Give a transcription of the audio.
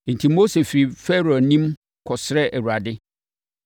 Enti, Mose firii Farao anim kɔsrɛɛ Awurade.